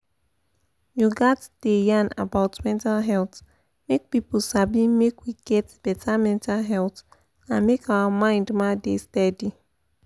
you gats da yan about mental health make pipu sabi make we get better mental health and make our mind ma da steady.